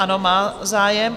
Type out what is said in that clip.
Ano, má zájem.